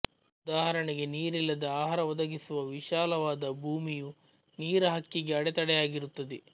ಉದಾಹರಣೆಗೆ ನೀರಿಲ್ಲದೆ ಆಹಾರವೊದಗಿಸುವ ವಿಶಾಲವಾದ ಭೂಮಿಯು ನೀರ ಹಕ್ಕಿಗೆ ಅಡೆತಡೆಯಾಗಿರುತ್ತದೆ